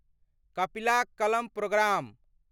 कपिला कलम प्रोग्राम